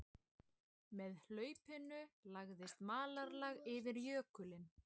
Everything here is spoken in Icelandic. Með hlaupinu lagðist malarlag yfir jökulinn